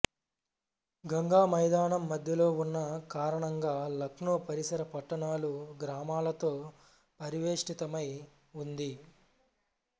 గంగామైదానం మధ్యలో ఉన్న కారణంగా లక్నో పరిసర పట్టణాలు గ్రామాలతో పరివేష్ఠితమై ఉంది